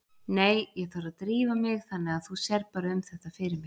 Nei, ég þarf að drífa mig þannig að þú sérð bara um þetta fyrir mig